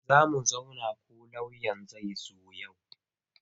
Zo mu zauna ko lauyan zai zo yau.